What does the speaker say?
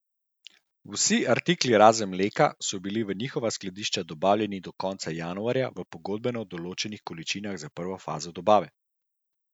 Vsi artikli razen mleka so bili v njihova skladišča dobavljeni do konca januarja v pogodbeno določenih količinah za prvo fazo dobave.